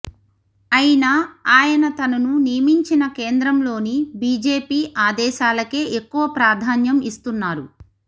అయినా ఆయన తనను నియమించిన కేంద్రంలోని బిజెపి ఆదేశాలకే ఎక్కువ ప్రాధాన్యం ఇస్తున్నారు